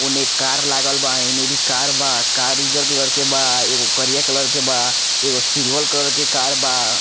ओने कार लागल बा एने भी कार बा कार उज्जर कलर के बा एगो करिया कलर के बा एगो सिल्वर कलर के कार बा।